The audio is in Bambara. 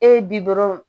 E ye bi dɔrɔn